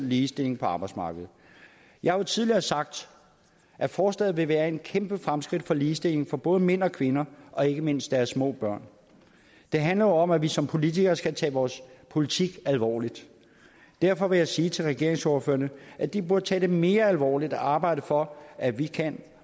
ligestilling på arbejdsmarkedet jeg har jo tidligere sagt at forslaget vil være et kæmpe fremskridt for ligestilling for både mænd og kvinder og ikke mindst deres små børn det handler jo om at vi som politikere skal tage vores politik alvorligt derfor vil jeg sige til regeringsordførerne at de burde tage det mere alvorligt at arbejde for at vi kan